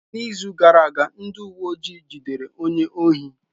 N'izu gara aga, ndị uwe ojii jidere onye ohi.